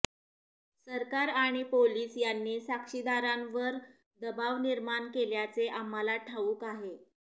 सरकार आणि पोलीस यांनी साक्षीदारांवर दबाव निर्माण केल्याचे आम्हाला ठाऊक आहे